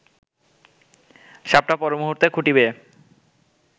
সাপটা পরমুহূর্তে খুঁটি বেয়ে